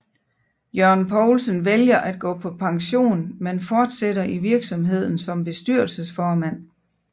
Jørgen Poulsen vælger at gå på pension men fortsætter i virksomheden som bestyrelsesformand